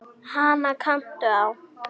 Hana kanntu á.